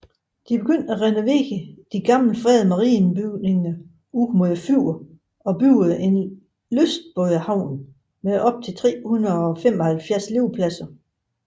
De begyndte at renovere de gamle fredede marinebygninger ud mod fjorden og byggede en lystbådehavn med op til 375 liggepladser